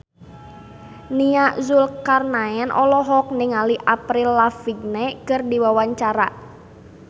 Nia Zulkarnaen olohok ningali Avril Lavigne keur diwawancara